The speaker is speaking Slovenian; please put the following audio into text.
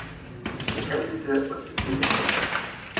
Zakaj bi se odcepili?